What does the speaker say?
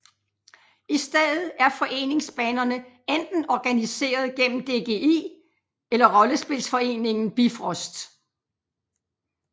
I stedet er foreningsbanerne enten organiseret gennem DGI eller rollespilsforeningen Bifrost